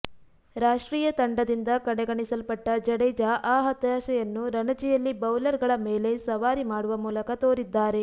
ರಾಷ್ಟ್ರೀಯ ತಂಡದಿಂದ ಕಡೆಗಣಿಸಲ್ಪಟ್ಟ ಜಡೇಜಾ ಆ ಹತಾಶೆಯನ್ನು ರಣಜಿಯಲ್ಲಿ ಬೌಲರ್ ಗಳ ಮೇಲೆ ಸವಾರಿ ಮಾಡುವ ಮೂಲಕ ತೋರಿದ್ದಾರೆ